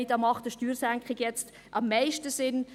«Okay, hier macht eine Steuersenkung jetzt am meisten Sinn.